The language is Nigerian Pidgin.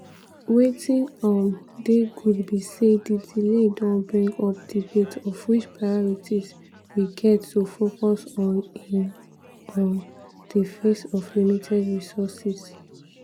wetin um dey good be say di delay don bring up debate of which priorities we get to focus on in um di face of limited resources."